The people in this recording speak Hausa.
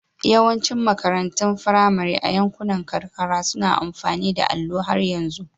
Yawancin makarantun firamare a yankunan karkara suna amfani da allo har yanzu.